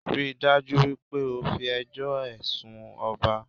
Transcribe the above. Ríi dájú wípé o fi ẹjọ́ o rẹ̀ sun ọba